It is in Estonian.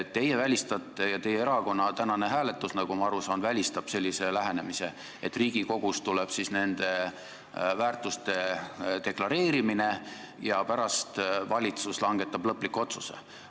Teie välistate ja teie erakonna tänane hääletamine, nagu ma aru saan, välistab sellise lähenemise, et Riigikogus tuleb nende väärtuste deklareerimine ja pärast valitsus langetab lõpliku otsuse.